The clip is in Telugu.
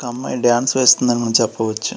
ఒక అమ్మాయి డాన్స్ వేస్తుందని మనం చెప్పవచ్చు.